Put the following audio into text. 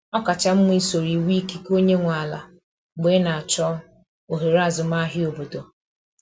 Ọ kacha mma isoro iwu ikike onye nwe ala mgbe ị na-achọ ohere azụmahịa obodo.